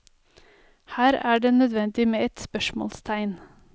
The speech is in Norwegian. Her er det nødvendig med et spørsmålstegn.